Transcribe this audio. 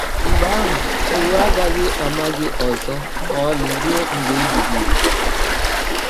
Mgbe ahụ, ọwụ agaghị ama gị ọzọ ma ọlị rụọ mgbe ebighị ebi.